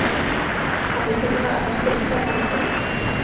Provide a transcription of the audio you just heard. Han betonar att hans grisar mår mycket bra.